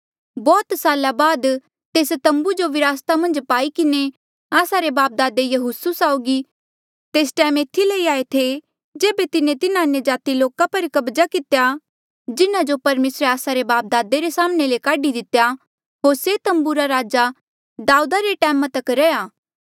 बौह्त साला बाद तेस तम्बू जो विरासता मन्झ पाई किन्हें आस्सा रे बापदादे यहोसू साउगी तेस टैम एथी लई आये थे जेबे तिन्हें तिन्हा अन्यजाति लोका पर कब्जा कितेया जिन्हा जो परमेसरे आस्सा रे बापदादे रे साम्हणें ले काढी दितेया होर से तम्बू राजा दाऊदा रे टैमा तक रैहया